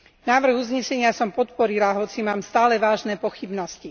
Návrh uznesenia som podporila, hoci mám stále vážne pochybnosti.